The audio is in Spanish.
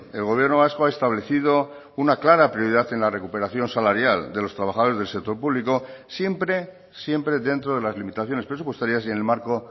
el gobierno vasco ha establecido una clara prioridad en la recuperación salarial de los trabajadores del sector público siempre siempre dentro de las limitaciones presupuestarias y en el marco